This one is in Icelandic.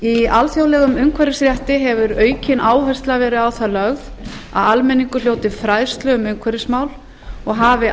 í alþjóðlegum umhverfisrétti hefur aukin áhersla verið á það lögð að almenningur hljóti fræðslu um umhverfismál og hafi